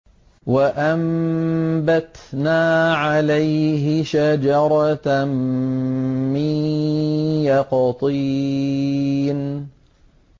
وَأَنبَتْنَا عَلَيْهِ شَجَرَةً مِّن يَقْطِينٍ